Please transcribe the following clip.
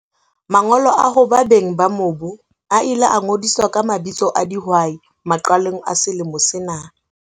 Mangolo a hoba beng ba mobu a ile a ngodiswa ka mabitso a dihwai maqalong a selemo sena.